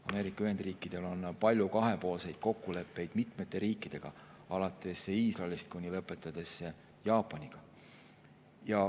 Ameerika Ühendriikidel on palju kahepoolseid kokkuleppeid mitmete riikidega, alates Iisraelist ja lõpetades Jaapaniga.